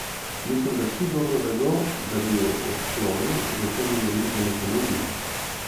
Mislim, da vsi dobro vedo, da bi jo odklonil, zato mi je niti ne ponudijo.